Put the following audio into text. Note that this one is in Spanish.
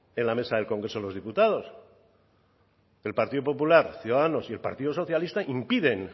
en la mesa del congreso de los diputados el partido popular ciudadanos y el partido socialista impiden